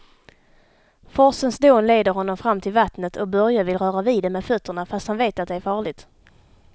Forsens dån leder honom fram till vattnet och Börje vill röra vid det med fötterna, fast han vet att det är farligt.